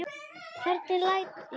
Hvernig læt ég.